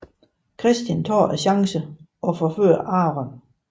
Christian tager chancen og forfører Aaron